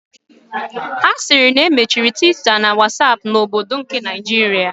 Asiri na emechiri Twitter na Whatsapp na obodo nke Naijiria.